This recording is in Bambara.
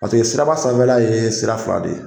Paseke siraba sanfɛla ye sira fila de ye.